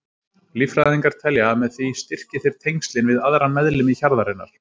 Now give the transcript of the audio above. Líffræðingar telja að með því styrki þeir tengslin við aðra meðlimi hjarðarinnar.